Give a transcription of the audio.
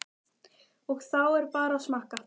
Og þá er bara að smakka?